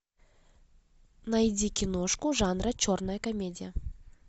найди киношку жанра черная комедия